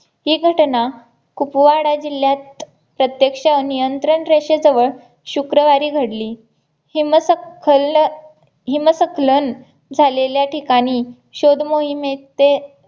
ही घटना कुपवाडा जिल्ह्यात प्रत्यक्ष नियंत्रण रेषेजवळ शुक्रवारी घडली हिम सखल हिम सकलन झालेल्या ठिकाणी शोध मोहिमेचे